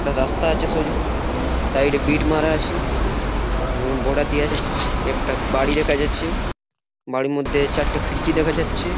একটা রাস্তা আছে সোজা সাইড -এ বিট মারা আছে এবং বর্ডার এবং একটা বাড়ি দেখা যাচ্ছে বাড়ির মধ্যে চারটা খিড়কি দেখা যাচ্ছে।